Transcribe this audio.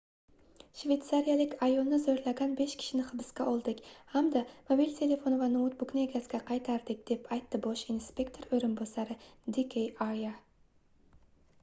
shveytsariyalik ayolni zoʻrlagan besh kishini hibsga oldik hamda mobil telefoni va noutbukni egasiga qaytardik deb aytdi bosh inspektor oʻrinbosari d k arya